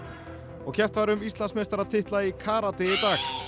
og keppt var um Íslandsmeistaratitla í karate í dag